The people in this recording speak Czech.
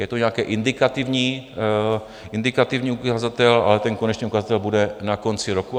Je to nějaký indikativní ukazatel, ale ten konečný ukazatel bude na konci roku.